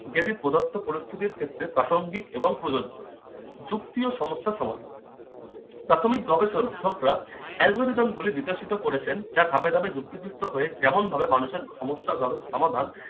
যেটি প্রদত্ত পরিস্থিতির ক্ষেত্রে প্রাসঙ্গিক এবং প্রযোজ্য। যুক্তি ও সমস্যার সমাধান- প্রাথমিক গবেষকরা algorithm গুলি বিকাশিত করেছেন যা ধাপে ধাপে যুক্তিযুক্ত হয়ে যেমন ভাবে মানুষের সমস্যা ধরে সমাধান